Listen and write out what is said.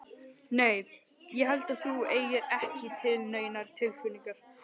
Nei. ég held að þú eigir ekki til neinar tilfinningar.